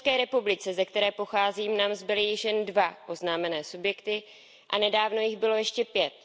v České republice, ze které pocházím, nám zbyly již jen dva oznámené subjekty a nedávno jich bylo ještě pět.